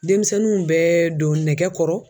Denmisɛnninw bɛ don nɛgɛkɔrɔ